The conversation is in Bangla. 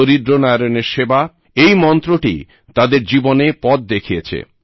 দরিদ্র নারায়ণের সেবা এই মন্ত্রটি তাঁদের জীবনে পথ দেখিয়েছে